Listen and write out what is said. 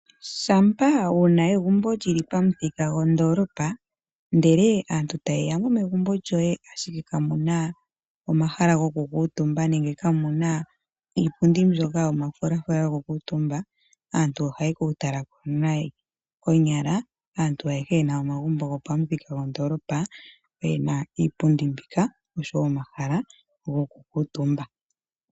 Shampa wuna egumbo lyili pamuthika gondolopa, ndele aantu ta yeya mo megumbo lyoye ashike kamu na omahala gokukutumba nenge kamuna iipundi mbyoka yomafulafula yokukutumba aantu ohaye ku tala ko nayi. Konyala aantu ayehe yena omagumbo pamuthika gondolopa oyena iipundi mbika, oshowo omahala gokukutumba.